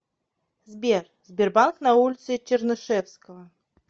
сбер сбербанк на улице чернышевского